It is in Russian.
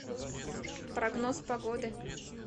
прогноз погоды